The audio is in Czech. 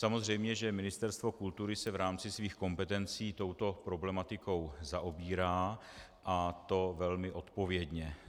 Samozřejmě že Ministerstvo kultury se v rámci svých kompetencí touto problematikou zaobírá, a to velmi odpovědně.